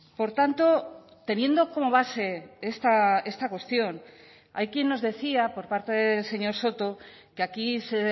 por tanto teniendo como base esta cuestión hay quien nos decía por parte del señor soto que aquí se